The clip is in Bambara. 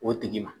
O tigi ma